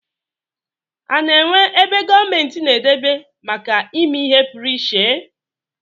A na-enwe ebe gomenti na-edebe make ime ihe puruiche?